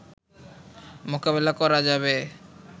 মোকাবিলা করা যাবে